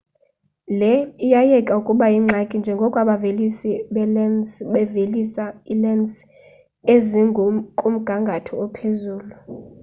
le iya iyeka ukuba yingxaki njengoko abavelisi beelensi bevelisa iilensi ezikumgangatho ophezulu